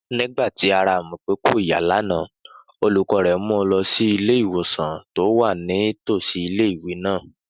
Nígbà tí ara Àmọ̀pé kò yá lánàá, olùkọ́ rẹ̀ mu lọ sí ilé-ìwòsàn tó wà ní tòsí ilé-ìwé náà